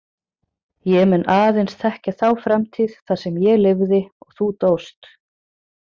Ég mun aðeins þekkja þá framtíð þar sem ég lifði og þú dóst.